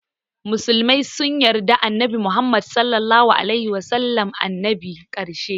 Musulmai sun yarda annabi Muhammad (SAW) ne annabin ƙarshe.